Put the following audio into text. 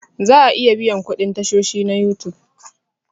Za a iya biyan kuɗin tashoshi na You Tube